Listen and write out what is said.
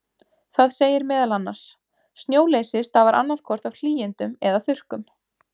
Það segir meðal annars: Snjóleysi stafar annað hvort af hlýindum eða þurrkum.